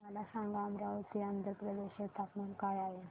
मला सांगा अमरावती आंध्र प्रदेश चे तापमान काय आहे